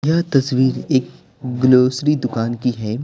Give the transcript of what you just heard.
यह तस्वीर एक ग्लोसरी दुकान की है।